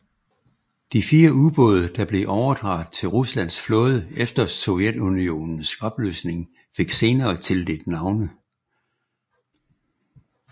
De fire ubåde der blev overdraget til Ruslands flåde efter Sovjetunionens opløsning fik senere tildelt navne